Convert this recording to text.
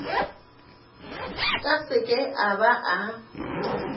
ka seke a ba a